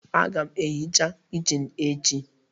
Aga m ehicha kichin echi